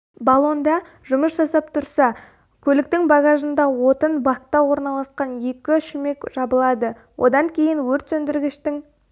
баллонда жұмыс жасап тұрса көліктің багажында отын бакта орналасқан екі шүмек жабылады содан кейін өртсөндіргіштің